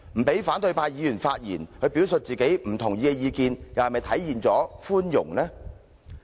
不讓反對派議員發言表述其不同意的意見，又是否體現出寬容？